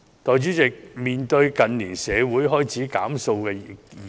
代理主席，近年社會開始討論"減塑"的議題。